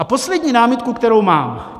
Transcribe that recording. A poslední námitku, kterou mám.